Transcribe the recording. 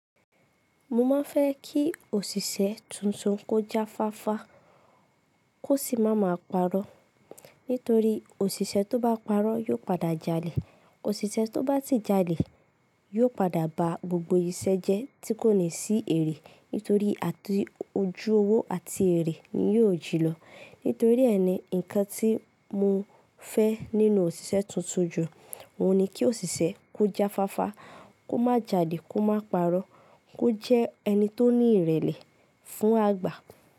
Mo máa ń fẹ́ kí òṣìṣẹ́ tuntun kó jáfáfá kó sì má máa parọ́. Nítorí òṣìṣẹ́ tó bá parọ́ yóò padà jalè. Òṣìṣẹ́ tó bá si jalè yóò padà ba gbogbo ìṣe jẹ́ tí kò ní sí èrè. Nítorí àti ojú owó àti èrè ni yóò jí lọ. Nítorí ẹ ni, nǹkan tí mo fẹ́ nínú òṣìṣẹ́ tuntun jù ọun ni kí òṣìṣẹ́ kó jáfáfá, kó má jalè, kó má parọ́, kó jẹ́ ẹni tó ní ìrẹ̀lẹ̀ fún àgbà.